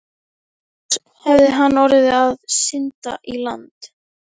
Annars hefði hann orðið að synda í land.